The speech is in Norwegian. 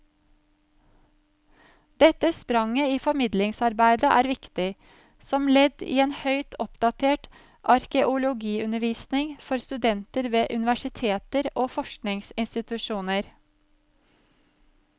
Dette spranget i formidlingsarbeidet er viktig, som ledd i en høyt oppdatert arkeologiundervisning for studenter ved universiteter og forskningsinstitusjoner.